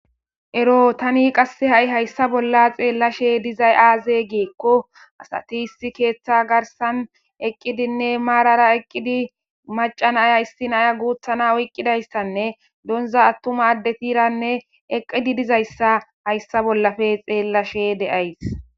Ero tani qasse ha7i hayssa bolla xeellashe dizay aaze geekko asati issi keeththa garsan eqqidinne maarara eqqidi macanaya issi naya guuthana oyqqidayssanne donza attuma addetiranne eqqidi dizayssa hayssa bollafe xeellashe de7ays.